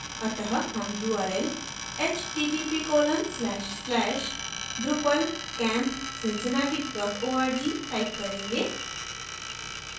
अत: हम url